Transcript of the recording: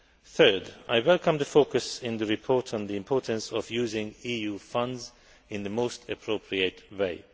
Thirdly, I welcome the focus in the report on the importance of using EU funds in the most appropriate